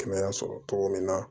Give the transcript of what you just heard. Kɛnɛya sɔrɔ cogo min na